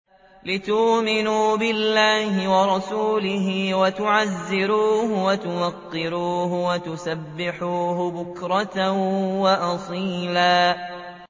لِّتُؤْمِنُوا بِاللَّهِ وَرَسُولِهِ وَتُعَزِّرُوهُ وَتُوَقِّرُوهُ وَتُسَبِّحُوهُ بُكْرَةً وَأَصِيلًا